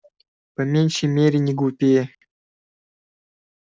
по меньшей мере не глупее